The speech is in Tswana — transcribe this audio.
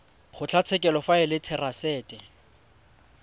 kgotlatshekelo fa e le therasete